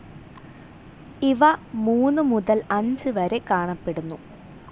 ഇവ മൂന്നുമുതൽ അഞ്ച് വരെ കാണപ്പെടുന്നു.